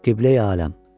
Qibləyi-aləm.